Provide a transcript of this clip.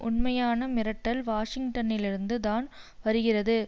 உண்மையான மிரட்டல் வாஷிங்டனிலிருந்து தான் வருகிறது